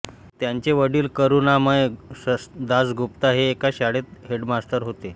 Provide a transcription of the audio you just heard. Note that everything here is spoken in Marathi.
त्यांचे वडील करुणामय दासगुप्ता हे एका शाळेत हेडमास्तर होते